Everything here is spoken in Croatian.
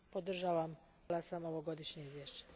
Podržala sam ovogodišnje izvješće.